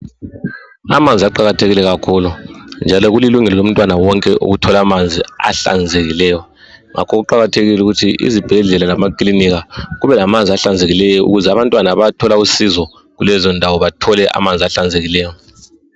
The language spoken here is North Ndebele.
Amanzi aqakathekile kakhulu njalo kulilungelo lomntwana wonke ukuthola amanzi ahlanzekileyo ngakho kuqakathekile ukuthi izibhedlela lamakilinika kube lamanzi ahlanzekileyo ukuze abantwana abathola usizo kulezindawo bathole amanzi ahlanzekileyo.